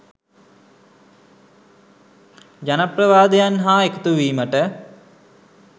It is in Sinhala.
ජනප්‍රවාදයන් හා එකතුවීමට